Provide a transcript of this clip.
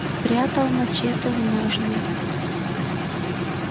спрятал мачете в ножны